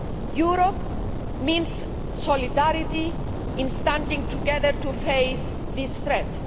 Europe means solidarity in standing together to face this threat.